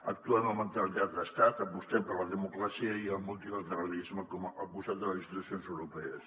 actuem amb mentalitat d’estat apostem per la democràcia i el multilateralisme al costat de les institucions europees